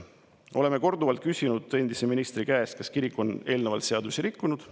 Oleme korduvalt küsinud endise ministri käest, kas kirik on eelnevalt seadust rikkunud.